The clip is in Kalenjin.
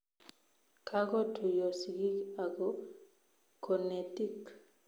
Kagotuiyo sigik ako konetik